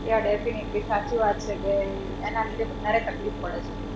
Yaa definitely સાચી વાત છે કે એના લીધે વધારે તકલીફ પડે છે.